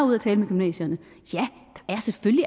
med gymnasierne